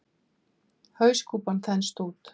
Hauskúpan þenst út.